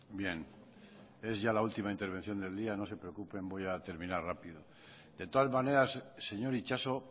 bien es ya la última intervención del día no se preocupen voy a terminar rápido de todas maneras señor itxaso